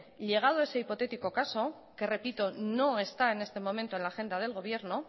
llegado a ese hipotético caso que repito no es está en este momento en la agenda del gobierno